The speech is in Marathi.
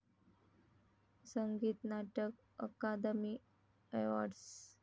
संगीत नाटक अकादमी अवॉर्ड्स